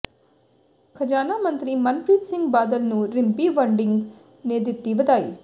ਖਜਾਨਾ ਮੰਤਰੀ ਮਨਪ੍ਰੀਤ ਸਿੰਘ ਬਾਦਲ ਨੂੰ ਰਿੰਪੀ ਵੜਿੰਗ ਨੇ ਦਿੱਤੀ ਵਧਾਈ